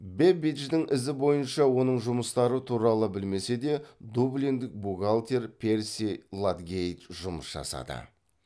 бэббидждің ізі бойынша оның жұмыстары туралы білмесе де дублиндік бухгалтер перси ладгейт жұмыс жасады